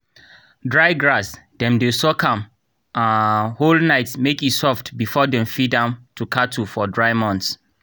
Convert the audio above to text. dry grass dem dey soak am um whole night make e soft before dem feed am to cattle for dry months.